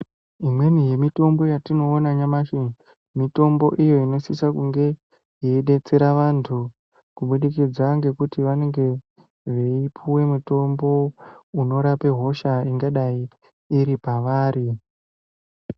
Imweni yemitombo yatinoona nyamashi Mitombo iyi inosisa kunge yeidetsera vantu kubudikidza kuti vanenge veipuwa mitombo inorapa hosha ingadai iripavari.